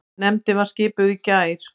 Nefndin var skipuð í gær.